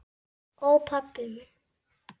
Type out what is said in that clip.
Ó, pabbi minn.